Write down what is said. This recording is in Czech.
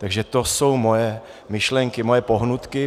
Takže to jsou moje myšlenky, moje pohnutky.